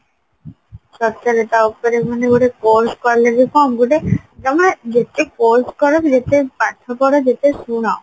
ସତରେ ତା ଉପରେ ମାନେ ଗୋଟେ course କଲେ ବି କଣ ଗୋଟେ ତମେ ଯେତେ course କର ଯେତେ ପାଠ ପଢ ଯେତେ ଶୁଣ